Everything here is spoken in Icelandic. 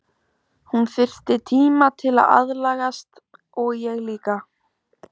Hún þyrfti tíma til að aðlagast og ég líka.